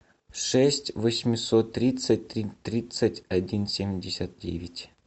шесть восемьсот тридцать тридцать один семьдесят девять